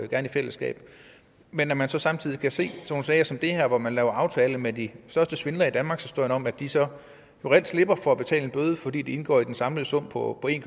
gerne i fællesskab men når man så samtidig kan se sådan som de her hvor man laver aftaler med de største svindlere i danmarkshistorien om at de så reelt slipper for at betale en bøde fordi bøden indgår i den samlede sum på en